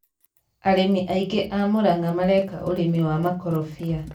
arĩmi aingĩ a Murang'a mareka ũrĩmi wa makorombĩa